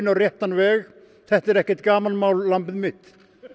réttan veg þetta er ekkert gamanmál lambið mitt